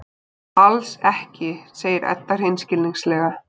Alls ekki, segir Edda hreinskilnislega.